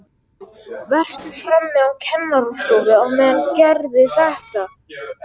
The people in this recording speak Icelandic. Vertu frammi á kennarastofu á meðan, gerðu það!